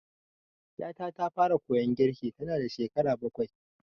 Ƴata ta fara koyon girki tanada shekara bakwai.